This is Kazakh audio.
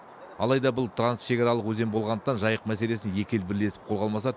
алайда бұл трансшекаралық өзен болғандықтан жайық мәселесін екі ел бірлесіп қолға алмаса